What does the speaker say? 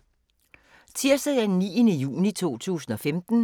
Tirsdag d. 9. juni 2015